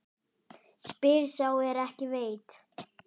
Spyr sá er ekki veit?